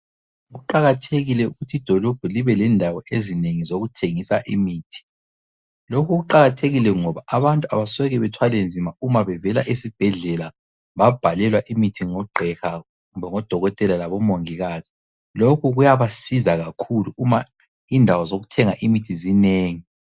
Kuqakathekile ukuthi idolobho libe lendawo ezinengi zokuthengisa imithi, lokhu kuqakathekile ngoba abantu abasoke bethwalenzima uma bevela esibhedlela babhalelwa imithi ngogqiha kumbe ngodokotela labomongikazi lokhu kuyabasiza kakhulu uma indawo zokuthenga imithi zinengi.